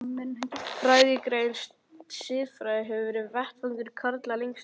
Fræðigreinin siðfræði hefur verið vettvangur karla lengst af.